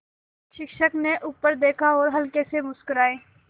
शिक्षक ने ऊपर देखा और हल्के से मुस्कराये